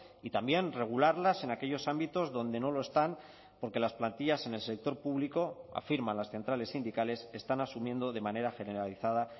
y también regularlas en aquellos ámbitos donde no lo están porque las plantillas en el sector público afirman las centrales sindicales están asumiendo de manera generalizada